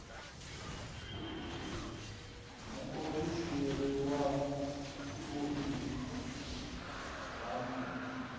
muofisi wa vhuḓi ha mufhe